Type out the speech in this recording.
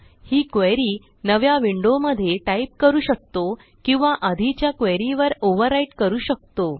ही query नव्या विंडोमध्ये type करू शकतो किंवा आधीच्या क्वेरी वर ओव्हरव्हराईट करू शकतो